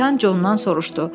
Kapitan Condan soruşdu: